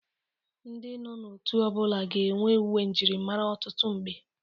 Ndị nọ n'otu ọ bụla ga-enwe uwe mjịrịmara ọtụtụ mgbe.